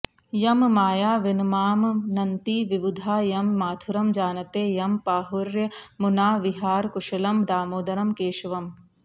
यं मायाविनमामनन्ति विवुधाः यं माथुरं जानते यं प्राहुर्यमुनाविहारकुशलं दामोदरं केशवम्